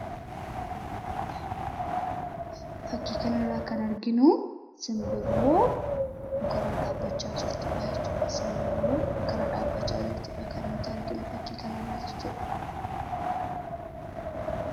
Fakkii kana irraa kan arginu simbirroo muka irra dhaabbachaa jirtudha.